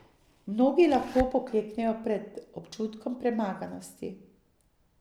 Mnogi lahko pokleknejo pred občutkom premaganosti.